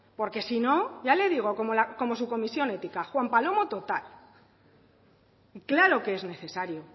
porque si no ya le digo como su comisión ética juan palomo total claro que es necesario